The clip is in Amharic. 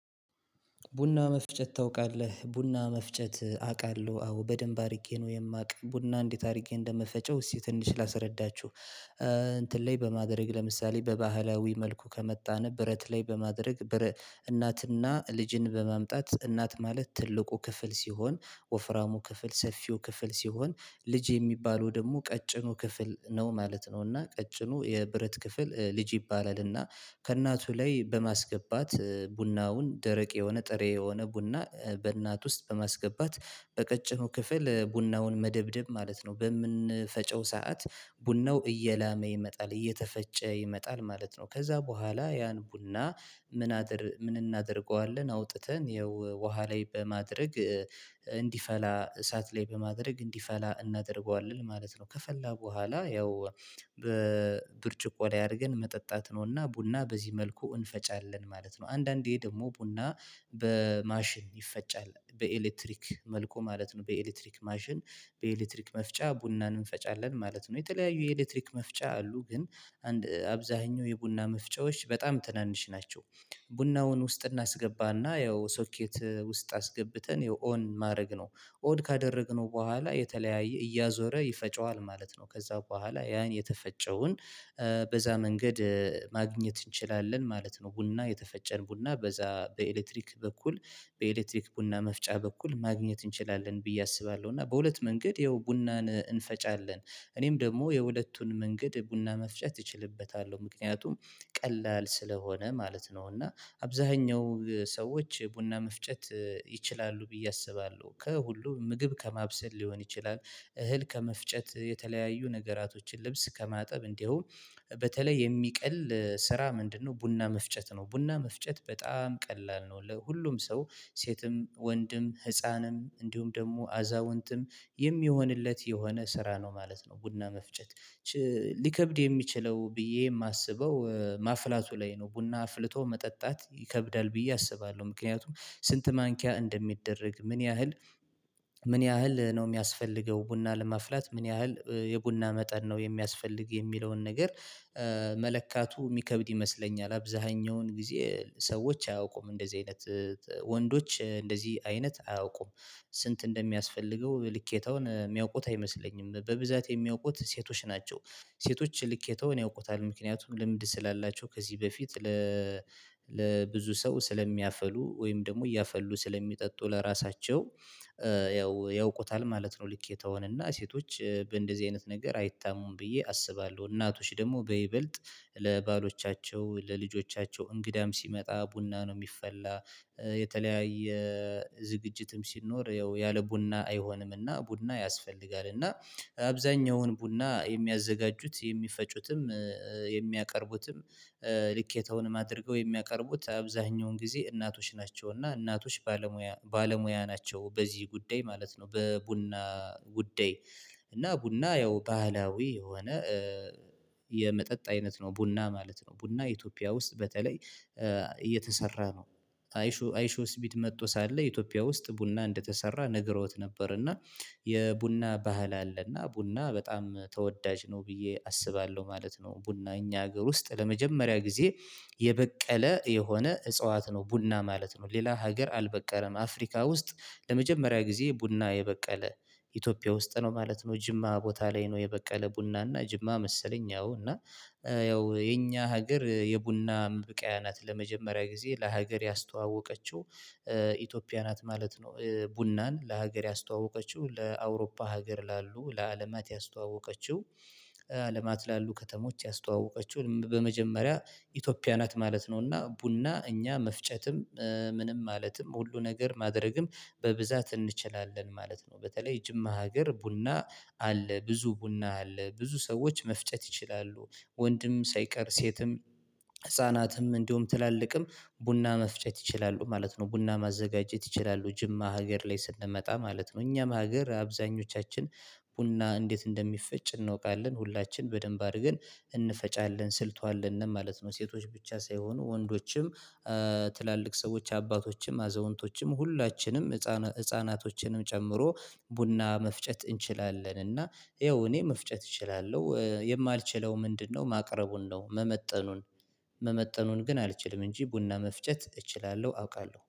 ቡና መፍጨት ታውቃለህ ቡና መፍጨት አውቃለሁ አዎ በደንብ አድርጌ ነው የማውቅ ቡና እንዴት አድርጌ እንደምፈጨው እሺ ትንሽ ላስረዳችሁ። እንትን ላይ በማድረግ ለምሳሌ በባህላዊ መልኩ ከመጣን ብረት ላይ በማድረግ። እናትና ልጅን በማምጣት እናት ማለት ትልቁ ክፍል ሲሆን ወፍራሙ ክፍል ሰፊው ክፍል ሲሆን ልጅ የሚባለው ደግሞ ቀጭኑ ክፍል ነው ማለት ነው እና ቀጭኑ የብረት ክፍል ልጅ ይባላል እና ከእናቱ ላይ በማስገባት ቡናውን ደረቅ የሆነ ጥሬ የሆነ ቡና በእናት ውስጥ በማስገባት በቀጭኑ ክፍል ቡናውን መደብደብ ማለት ነው። በምንፈጨው ሰዓት ቡናው እየላመ ይመጣል እየተፈጨ ይመጣል ማለት ነው። ከዚያ በኋላ ያን ቡና ምን አድርገው ምን እናደርገዋለን አውጥተን ይኸው ውሃ ላይ በማድረግ እንዲፈላ እሳት ላይ በማድረግ እንዲፈላ እናደርገዋለን ማለት ነው። ከፈላ በኋላ ያው በብርጭቆ ላይ አድርገን መጠጣት ነውና ቡና በዚህ መልኩ እንፈጫለን ማለት ነው። አንዳንዴ ደግሞ ቡና በማሽን ይፈጫል በኤሌክትሪክ መልኩ ማለት ነው። በኤሌክትሪክ ማሽን በኤሌክትሪክ መፍጫ ቡናን እንፈጫለን ማለት ነው። የተለያዩ የኤሌክትሪክ መፍጫ አሉ ግን አንድ አብዛኛው የቡና መፍጫዎች በጣም ትናንሽ ናቸው። ቡናውን ውስጥ እናስገባና ያው ሶኬት ውስጥ አስገብተን የኦን ማድረግ ነው ኦድ ካደረግነው በኋላ የተለያየ እያዞረ ይፈጨዋል ማለት ነው። ከዚያ በኋላ ያን የተፈጨውን መንገድ ማግኘት እንችላለን ማለት ነው። ቡና የተፈጨን ቡና በዚያ በኤሌክትሪክ በኩል በኤሌክትሪክ ቡና መፍጫ በኩል ማግኘት እንችላለን ብዬ አስባለሁ። እና በሁለት መንገድ ይኸው ቡናን እንፈጫለን እኔም ደግሞ የሁለቱን መንገድ ቡና መፍጨት እችልበታለሁ ምክንያቱም ቀላል ስለሆነ ማለት ነው። እና አብዛኛው ሰዎች ቡና መፍጨት ይችላሉ ብዬ አስባለሁ ከሁሉ ምግብ ከማብሰል ሊሆን ይችላል። እህል ከመፍጨት የተለያዩ ነገራቶችን ልብስ ከማጠብ እንዲሁም በተለይ የሚቀል ስራ ምንድነው? ቡና መፍጨት ነው ቡና መፍጨት በጣም ቀላል ነው። ለሁሉም ሰው ሴትም ወንድም ህፃንም እንዲሁም ደግሞ አዛውንትም የሚሆንለት የሆነ ስራ ነው ማለት ነው። ቡና መፍጨት ሊከብድ የሚችለው ብዬ የማስበው ማፍላቱ ላይ ነው። ቡና አፍልቶ መጠጣት ይከብዳል ብዬ አስባለሁ። ምክንያቱም ስንት ማንኪያ እንደሚደረግ ምን ያህል ምን ያህል ነው? የሚያስፈልገው ቡና ለማፍላት ምን ያህል የቡና መጠን ነው የሚያስፈልግ የሚለውን ነገር። መለካቱ የሚከብድ ይመስለኛል። አብዛኛውን ጊዜ ሰዎች አያውቁም እንደዚህ አይነት ወንዶች እንደዚህ አይነት አያውቁም። ስንት እንደሚያስፈልገው ልኬታውን የሚያውቁት አይመስለኝም በብዛት የሚያውቁት ሴቶች ናቸው። ሴቶች ልኬታውን ያውቁታል ምክንያቱም ልምድ ስላላቸው ከዚህ በፊት ለብዙ ሰው ስለሚያፈሉ ወይም ደግሞ እያፈሉ ስለሚጠጡ ለራሳቸው ያው ያውቁታል ማለት ነው። ልኬተወውን ሴቶች በእንደዚህ አይነት ነገር አይታሙም ብዬ አስባለሁ። እናቶች ደግሞ በይበልጥ ለባሎቻቸው ለልጆቻቸው እንግዳም ሲመጣ ቡና ነው የሚፈላ የተለያየ ዝግጅትም ሲኖር ያለ ቡና አይሆንምና ቡና ያስፈልጋልና አብዛኛውን ቡና የሚያዘጋጁት የሚፈጩትም የሚያቀርቡትም ልኬታውንም አድርገው የሚያቀርቡት አብዛኛውን ጊዜ እናቶች ናቸው። እና እናቶች ባለሙያ ባለሙያ ናቸው በዚህ ጉዳይ ማለት ነው። በቡና ጉዳይ እና ቡና ያው ባህላዊ የሆነ የመጠጥ አይነት ነው ቡና ማለት ነው። ቡና ኢትዮጵያ ውስጥ በተለይ እየተሰራ ነው። አይሾ አይሾ ስቢድ መጥቶ ሳለ ኢትዮጵያ ውስጥ ቡና እንደተሰራ ነግረውት ነበር። እና የቡና ባህል አለ እና ቡና በጣም ተወዳጅ ነው ብዬ አስባለሁ ማለት ነው። ቡና እኛ ሀገር ውስጥ ለመጀመሪያ ጊዜ የበቀለ የሆነ እጽዋት ነው ቡና ማለት ነው። ሌላ ሀገር አልበቀለም አፍሪካ ውስጥ ለመጀመሪያ ጊዜ ቡና የበቀለ ኢትዮጵያ ውስጥ ነው ማለት ነው። ጅማ ቦታ ላይ ነው የበቀለ ቡና እና ጅማ መሰለኝ ያው እና ያው የኛ ሀገር የቡና ማብቃያ ናት ለመጀመሪያ ጊዜ ለሀገር ያስተዋወቀችው ናት ማለት ነው። ቡናን ለሀገር ያስተዋወቀችው ለአውሮፓ ሀገር ላሉ ለአለማት ያስተዋወቀችው አለማት ላሉ ከተሞች ያስተዋወቀችው በመጀመሪያ ኢትዮጵያ ናት ማለት ነውና። ቡና እኛ መፍጨትም ምንም ማለትም ሁሉ ነገር ማድረግም በብዛት እንችላለን ማለት ነው። በተለይ ጅማ ሀገር ቡና አለ ብዙ ቡና አለ ብዙ ሰዎች መፍጨት ይችላሉ። ወንድም ሳይቀር ሴትም ህፃናትም እንዲሁም ትላልቅም ቡና መፍጨት ይችላሉ ማለት ነው። ቡና ማዘጋጀት ይችላሉ ጅማ ሀገር ላይ ስንመጣ ማለት ነው። እኛም ሀገር አብዛኞቻችን ቡና እንዴት እንደሚፈጭ እንወቃለን ሁላችንም በደንብ አድርገን እንፈጫለን ስልቱ አለን ማለት ነው። ሴቶች ብቻ ሳይሆኑ ወንዶችም ትላልቅ ሰዎች አባቶችም አዘውንቶችም ሁላችንም ህፃናቶችንም ጨምሮ ቡና መፍጨት እንችላለን። እና ይኸው እኔ መፍጨት እችላለሁ የማልችለው ምንድነው ማቅረቡን ነው? መመጠኑን መመጠኑን ግን አልችልም እንጂ ቡና መፍጨት እችላለሁ። አውቃለሁ